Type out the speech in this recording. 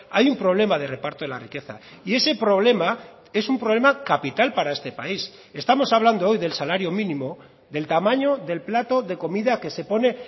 hay un problema de reparto de la riqueza y ese problema es un problema capital para este país estamos hablando hoy del salario mínimo del tamaño del plato de comida que se pone